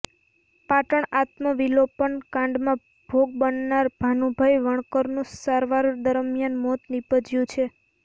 પાટણ આત્મવિલોપન કાંડમાં ભોગ બનનાર ભાનુભાઈ વણકરનું સારવાર દરમિયાન મોત નિપજ્યુ છે